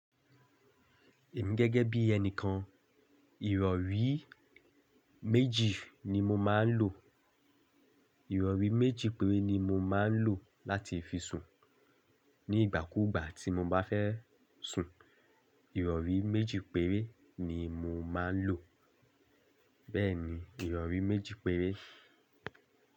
Èmi gẹ́gẹ́ bí ènì kan, ìrọ̀rí méjì ni mo máa ń lò. Ìrọ̀rí méjì péré ni mo máa ń lò láti fi sùn. Ni ìgbà kúùgbà tí mo bá fẹ́ sùn, ìrọ̀rí méjì péré ni mo máa ń lò. Bẹ́ẹ̀ni, ìrọ̀rí méjì péré.